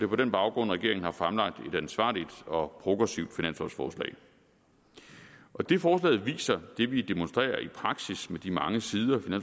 på den baggrund at regeringen har fremlagt et ansvarligt og progressivt finanslovforslag det forslaget viser og det vi demonstrerer i praksis med de mange sider